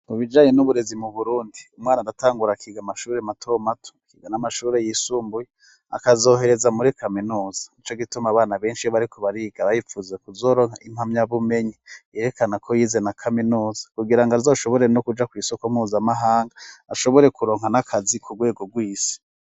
Mu bijanye n'uburezi mu burundi umwana adatangura akiga amashuri mato mato akiga n'amashuri y'isumbuye akazohereza muri kaminuza ico gituma abana benshi barikubariga bayipfuze kuzoronka impamya bumenyi yerekana ko yize na kaminuza kugira ngo zoshobore no kuja ku isoko mpuzamahanga ashobore kuronka n' akazi ku rwego rwisi.